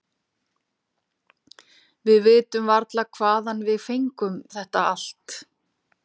Við vitum varla hvaðan við fengum þetta alt.